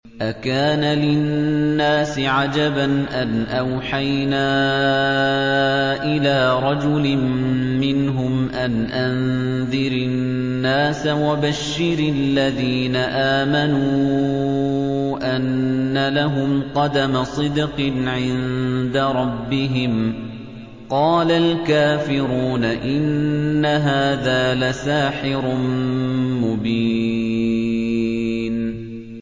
أَكَانَ لِلنَّاسِ عَجَبًا أَنْ أَوْحَيْنَا إِلَىٰ رَجُلٍ مِّنْهُمْ أَنْ أَنذِرِ النَّاسَ وَبَشِّرِ الَّذِينَ آمَنُوا أَنَّ لَهُمْ قَدَمَ صِدْقٍ عِندَ رَبِّهِمْ ۗ قَالَ الْكَافِرُونَ إِنَّ هَٰذَا لَسَاحِرٌ مُّبِينٌ